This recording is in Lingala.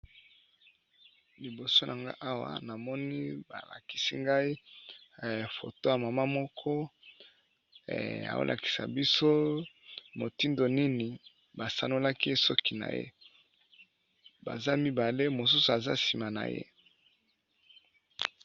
Liboso na nga awa na moni ba lakisi ngai photo ya mama moko azo ko lakisa biso motindo nini ba sanolaki ye suki na ye, baza mibale mosusu aza sima na ye .